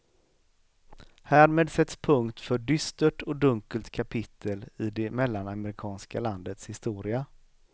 Härmed sätts punkt för dystert och dunkelt kapitel i det mellanamerikanska landets historia.